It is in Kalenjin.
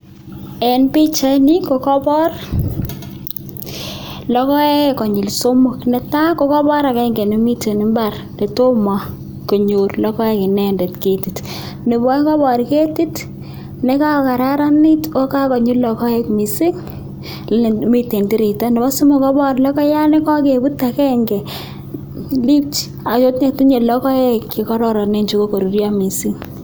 Eng' pichaini ko kabor logoek konyil somok. Netai ko kabor akenge nemiten mbar netomo konyor logoek inendet ketit, nebo aeng kabor ketit nekakokararanit akakonyi logoek mising, nebo somok kebor logoiyat nekakebut akenge akotinye logoek chekararanen chekokoruryo mising.